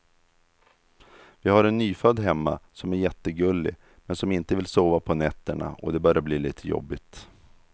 Vi har en nyfödd hemma som är jättegullig, men som inte vill sova på nätterna och det börjar bli lite jobbigt.